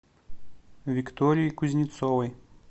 виктории кузнецовой